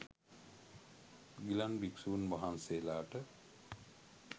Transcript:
ගිලන් භික්ෂූන් වහන්සේලාට